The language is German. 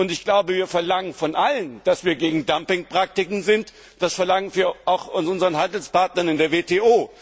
Ich glaube, wir verlangen von allen, dass wir gegen Dumping Praktiken sind, das verlangen wir auch von unseren Handelspartnern in der WTO.